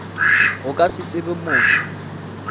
go ka se tsebe motho